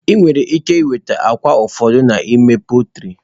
Ị nwere ike nweta akwa ụfọdụ n'ime pọltrị.